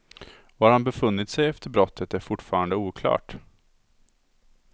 Var han befunnit sig efter brottet är fortfarande oklart.